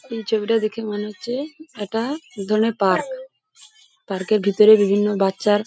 এই ছবিটা দেখে মনে হচ্ছে এটা এক ধরনের পার্ক । পার্ক -এর ভিতরে বিভিন্ন বাচ্চার --